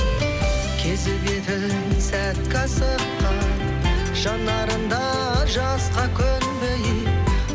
кезі кетіп сәтке асыққан жанарың да жасқа көнбей